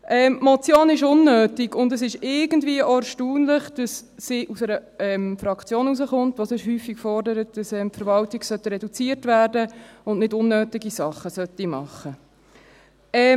Die Motion ist unnötig, und es ist irgendwie auch erstaunlich, dass sie aus einer Fraktion kommt, die sonst häufig fordert, dass die Verwaltung reduziert werden soll und nicht unnötige Sachen machen sollte.